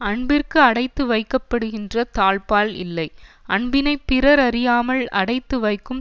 அன்பிற்கு அடைத்து வைக்கப்படுகின்ற தாழ்ப்பாள் இல்லை அன்பினை பிறர் அறியாமல் அடைத்து வைக்கும்